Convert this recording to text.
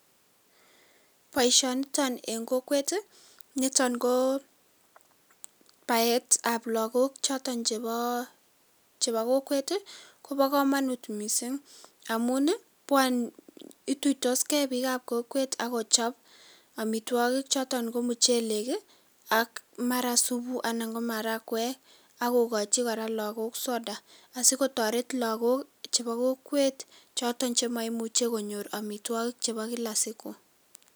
Boisionito en kokwet nito koo baetab lakok choton chepo kokwet kopokomonut mising amun ituitosge biikab kokwet akochop amitwokik choton ko mochelek, ak mara supu, anan ko marakwek akokochi kora lakok soda asikotoret lakokok chepo kokwet choton che maimuche konyor amitwokik chepo kila siku